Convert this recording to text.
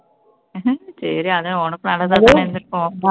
சரி ஆனா உனக்கு நல்லதா தானே இருந்துருக்கும்